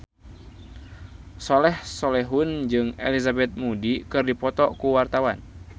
Soleh Solihun jeung Elizabeth Moody keur dipoto ku wartawan